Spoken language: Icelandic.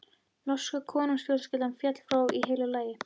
Norska konungsfjölskyldan féll frá í heilu lagi.